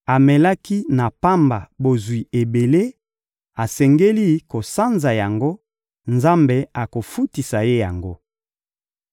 Amelaki na pamba bozwi ebele, asengeli kosanza yango; Nzambe akofutisa ye yango.